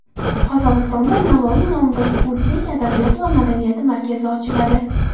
Qozog‘istonda Navoiy nomidagi o‘zbek adabiyoti va madaniyati markazi ochiladi.